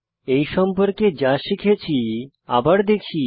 এই সম্পর্কে যা শিখেছি আবার দেখি